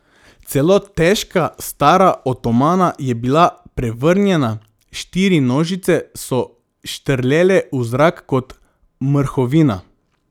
Celo težka stara otomana je bila prevrnjena, štiri nožice so štrlele v zrak kot mrhovina.